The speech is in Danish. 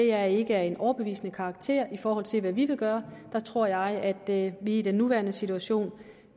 er ikke af en overbevisende karakter i forhold til hvad vi vil gøre der tror jeg at vi i den nuværende situation